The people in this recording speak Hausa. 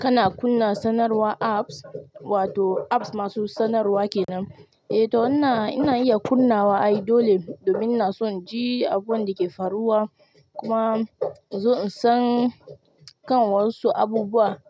Kana kunna sanarwar apps wato apps masu sanarwa kenan? Eh to wannan ina iya kunnawa ai dole domin inason in ji abun dake faruwa kuma in zo in san kan wasu abubuwa.